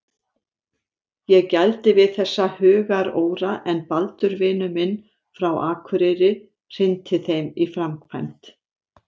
Ég gældi við þessa hugaróra en Baldur vinur minn frá akureyri hrinti þeim í framkvæmd.